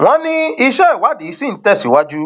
wọn ní iṣẹ ìwádìí ṣì ń tẹ síwájú